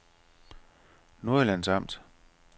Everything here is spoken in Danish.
Nordjyllands Amt